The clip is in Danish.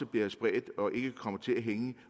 blive spredt og ikke vil komme til at hænge